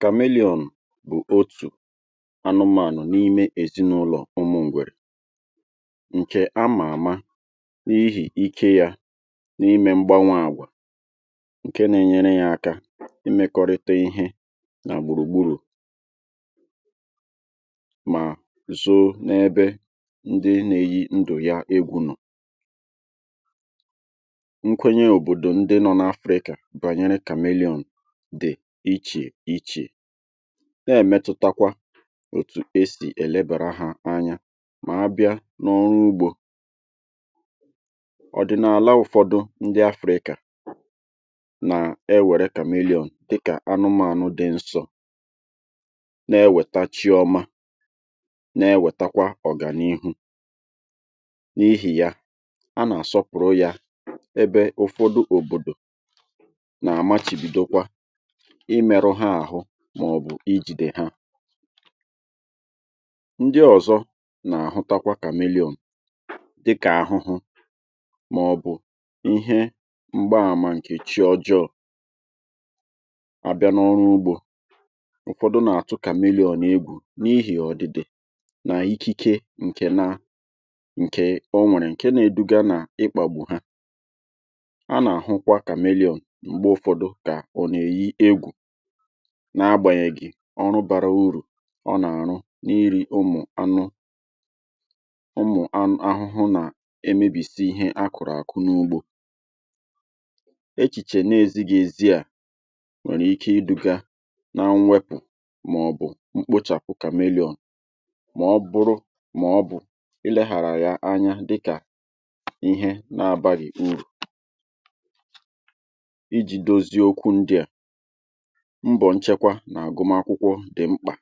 Kameliọn bụ̀ otù anụmànụ̀ n’ime èzinụlọ̀ ụmụ̀ ngwèrè ǹkè amà àma n’ihì ike yȧ n’ime mgbanwè àgwà ǹke na-enyere yȧ aka imekọrịta ihe nà gbùrùgburù mà zoo n’ebe ndị na-eyi ndụ̀ ya egwu̇ nọ̀. Nkwenye obodo ndị nọ n'Afrika banyere chameleondị̀ ichè ichè na-èmetụtakwa òtù esì èlebàra hȧ anya mà abịa n’ọrụ ugbȯ. Odị̀naàla ụ̀fọdụ ndị Afrika nà-ewère kamelion dịkà anụmȧnụ dị nsọ, na-ewètachi ọma na-ewètakwa ọ̀gànihu, n’ihì ya a nà-àsọpụ̀rụ ya ebe ụ̀fọdụ òbòdò na-amachibidokwa imėrụ ha àhụ màọ̀bụ̀ ijìdè ha. Ndị ọ̀zọ nà-àhụtakwa kamelion dịkà àhụhụ màọ̀bụ̀ ihe m̀gbaàmà nke chi ọjọọ, abịa n’ọrụ ugbȯ, ụ̀fọdụ nà-àtụ kamelion egwù n’ihì ọ̀dị̀dị̀ nà ikike ǹkè na nke ọ nwèrè ǹke na-eduga nà ịkpàgbu ha, a nà-àhụkwa kamelion mgbe ụfọdụ ka ọ na-eyi egwu n’agbànyèghì ọrụ bàra urù ọ nà-àrụ n’iri ụmụ̀ anụ ụmụ̀ anụ̀ ahụhụ nà-emėbìsi ihe a kụ̀rụ̀ àkụ n’ugbo. Echìchè n’èziga èzi à nwèrè ike idu̇gȧ na mwepù màọ̀bụ̀ mkpochàpụ kàmelion mà ọ̀ bụrụ màọ̀bụ̀ i leghàrà ya anya dịkà ihe n’abàghị̀ urù. mbọ̀ nchekwa nà-àgụmakwụkwọ dị̀ mkpà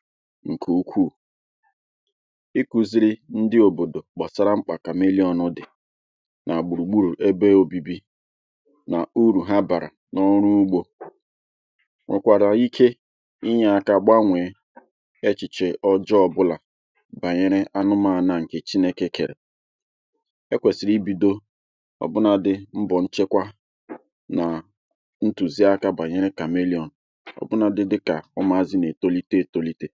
ǹkè ukwuù, ikùziri ndị òbòdò gbasara mkpà kamelion dị̀ nà gbùrùgburù ebe obibi nà uru ha bàrà n’ọrụ ugbȯ nwekwàrà ike inyė aka gbanwèe echìchè ọjọọ ọbụlà bànyere anụmȧnụ̀ nkè chinėkè kerè, ekwesìrì ibi̇do ọ̀bụnȧdị̀ mbọ̀ nchekwa na ntụziaka banyere kamelion ọbụnadi dika ụmụ̀azị nà-ètolite ètolite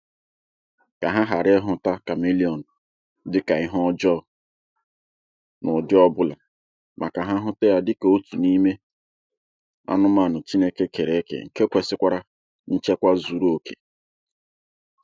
kà ha hàra ịhụ̇ta kamelion dịkà ihe ọjọọ̇ n’ụ̀dị ọbụlà màkà ha hụte ya dịkà otù n’ime anụmànụ̀ Chineke kẹrẹkẹ̀ ǹke kwesịkwara nchekwa zuru òkè.